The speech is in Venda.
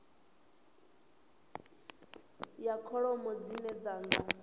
ya kholomo dzine dzi nga